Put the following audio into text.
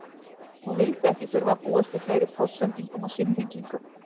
Hann vildi ekki þurfa að búast við fleiri póstsendingum og símhringingum.